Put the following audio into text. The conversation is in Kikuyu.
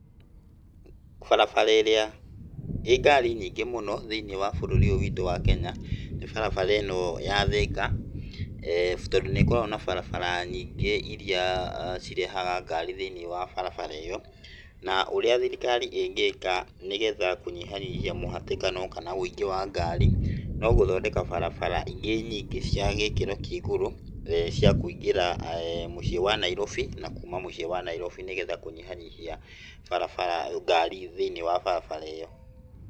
Barabara ĩrĩa ĩĩ Ngari nyingĩ mũno, thĩinĩ wa bũrũri ũyũ witũ wa Kenya, nĩ barabara ĩno ya Thĩka, tondũ nĩ ĩkoragwo na barabara nyingĩ ,iria cirehaga ngari thiinĩ wa barabara iyo, na ũria thirikari ĩngĩka nĩgetha kũnyihanyihia mũhatĩkano kana ũingĩ wa ngari, no gũthondeka barabara ingĩ nyingi, cia gĩkĩro kĩa igũrũ, cia kũingĩra mũciĩ wa Nairobi, na kuma mũciĩ wa Nairobi, nigetha kũnyihanyihia Ngari thĩini wa barabara ĩyo.